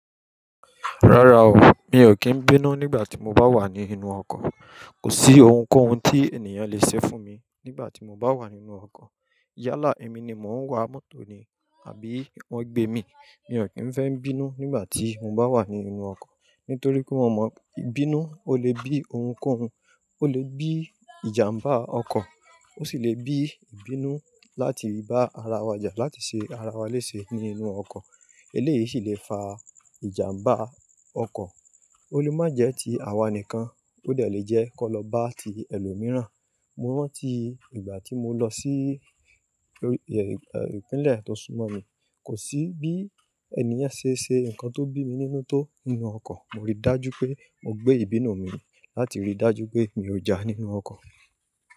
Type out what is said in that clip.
Rárá o, mi ò kí ń bínú nígbà tí mo bá wà nínú ọkọ̀. Kò sí ohunkóhun tí ènìyàn lè ṣe fún mi nígbà tí mo bá wà nínú ọkọ̀. Yálà ẹmi ni mò ń wa mọ́tò ni àbí wọ́n gbé mi. Mi ò kí ń fẹ́ ń bínú nígbà tí mo bá wà nínú ọkọ̀. Nítorí pé mò mọ̀ ìbínú ó lè bí ohunkóhun. Ó lè bí ìjàmbá ọkọ̀, ó sì lè bí ìbínú láti bá ara wa jà, láti ṣe ara wa léṣe nínú ọkọ̀. Eléyìí sì lè fa ìjàmbá ọkọ̀. Ó lè má jẹ́ ti àwa nìkan, ó dè le jẹ́ kó lọ bá ti ẹlòmíràn. Mo rántí ìgbà tí mo lọ sí ìpínlẹ̀ tó súmọ́ mi, kò sí bí ènìyàn ṣe ṣe nǹkan tó bí mi nínú tó nínú ọkọ̀. Mo rí dájú pé mo gbé ìbínú mi láti rí dájú pé mi ò já nínú ọkọ̀